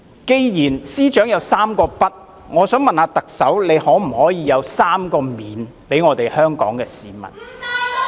既然司長提到"三個不"，我想問特首可否給香港市民"三個免"......